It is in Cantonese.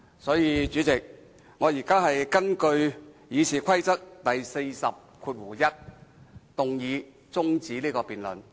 所以，主席，我現在根據《議事規則》第401條動議中止辯論。